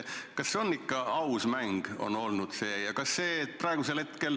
Kas see on ikka aus mäng olnud?